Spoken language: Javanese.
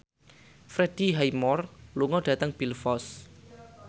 Freddie Highmore lunga dhateng Belfast